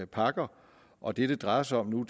pakker og det det drejer sig om nu